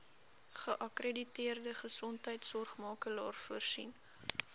geakkrediteerde gesondheidsorgmakelaar voorsien